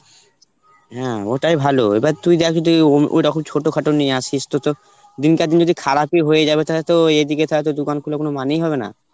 হ্যাঁ ওটাই ভালো, এবার তুই দেখ যদি ওই~ ওইরকম ছোটখাটো নিয়ে আসিস তো তোর দিন কার দিন যদি খারাপই হয়ে যাবে তালে তো এদিকে তালে দোকান খোলার কোন মানেই হবে না.